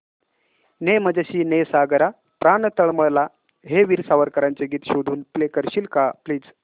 ने मजसी ने सागरा प्राण तळमळला हे वीर सावरकरांचे गीत शोधून प्ले करशील का प्लीज